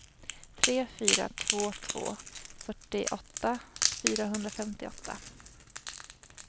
tre fyra två två fyrtioåtta fyrahundrafemtioåtta